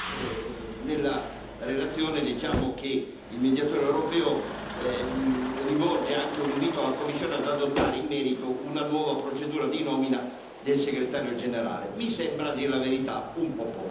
Va dato atto che nella relazione leggiamo che il Mediatore europeo rivolge anche un invito alla Commissione ad adottare in merito una nuova procedura di nomina del Segretario generale.